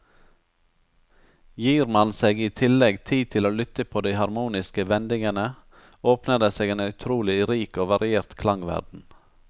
Gir man seg i tillegg tid til å lytte på de harmoniske vendingene, åpner det seg en utrolig rik og variert klangverden.